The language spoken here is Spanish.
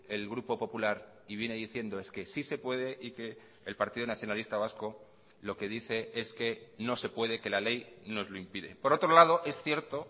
el grupo popular y viene diciendo es que sí se puede y que el partido nacionalista vasco lo que dice es que no se puede que la ley nos lo impide por otro lado es cierto